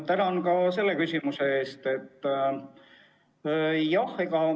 Tänan ka selle küsimuse eest!